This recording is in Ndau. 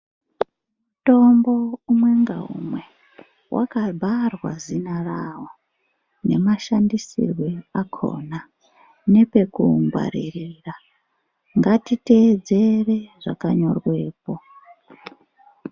Mutombo umwe ngaumwe wakabharwa zina rawo, nemashandisirwe akhona nepekuungwaririra, ngatiteedzere zvakanyorwepo.